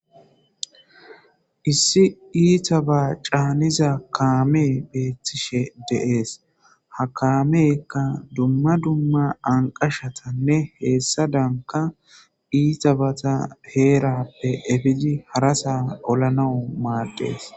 issi iita ba caaniza kaamee beettishe deees ha kaameka dumma dumma anqashatanne heessa daanka iita bata heerappe efidi harasa olanau maaddees